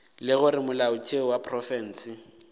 le gore molaotheo wa profense